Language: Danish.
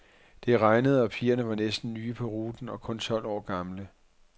Det regnede og pigerne var næsten nye på ruten og kun tolv år gamle.